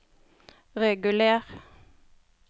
reguler